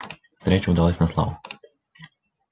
встреча удалась на славу